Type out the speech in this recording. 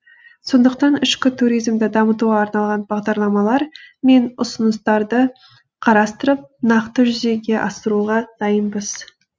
сондықтан ішкі туризмді дамытуға арналған бағдарламалар мен ұсыныстарды қарастырып нақты жүзеге асыруға дайынбыз